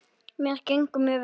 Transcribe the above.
Mér gengur mjög vel.